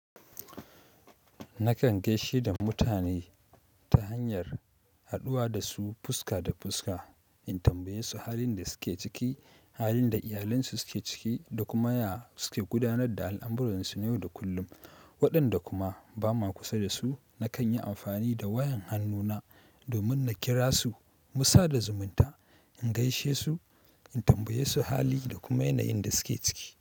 Nakan gaishe da mutane ta hanyar haɗuwa da su fuska da fuska, in tambaye su halin da suke ciki, halin da iyalansu suke ciki da kuma ya suke gudanar da al'amuransu yau da kullum. Waɗanda kuma ba ma kusa da su, nakan yi amfani da wayan annuna domin na kira su mu sada zumunta, in gaishe su, in tambaye su hali da kuma yanayin da suke ciki.